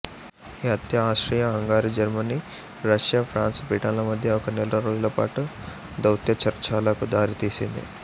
ఈ హత్య Austria Hungary Germany Russia France Britain ల మధ్య ఒక నెల రోజుల పాటు దౌత్యచర్చలకు దారితీసింది